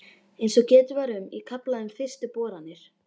Eins og getið var um í kafla um fyrstu boranir